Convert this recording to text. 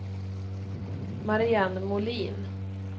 Marianne Molin